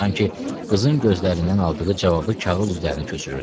Sanki qızın gözlərindən aldığı cavabı kağız üzərinə köçürürdü.